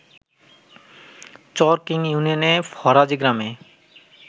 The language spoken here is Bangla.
চর কিং ইউনিয়নে ফরাজী গ্রামে